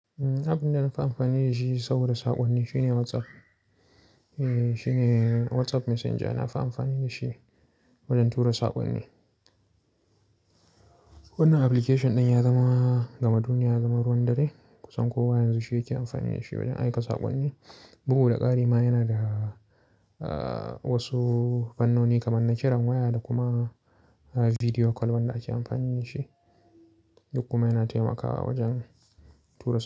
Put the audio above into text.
Abin da na fi amfani da shi saboda saƙonni shine WhatsApp. Eh, shine WhatsApp Messenger, na fi amfani da shi wajen tura saƙonni. Wannan application ɗin ya zama gama duniya, ya zama ruwan dare. Kusan kowa yanzu shi yake amfani da shi wajen aika saƙonni. Bugu da ƙari ma yana da, wasu fannoni kamar na kiran waya da kuma video call wanda ake amfani da shi. Duk kuma yana taimakawa wajen tura.